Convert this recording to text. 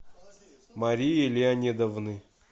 марии леонидовны